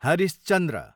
Harish Chandra